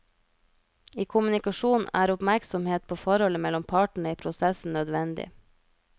I kommunikasjon er oppmerksomhet på forholdet mellom partene i prosessen nødvendig.